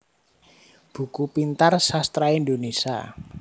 Buku Pintar Sastra Indonesia